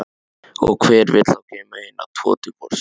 Og hver vill þá geyma hina tvo til vorsins?